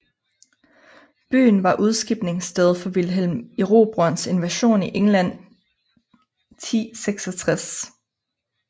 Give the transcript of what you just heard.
Byen var udskibningssted for Vilhelm Erobrerens invasion i England 1066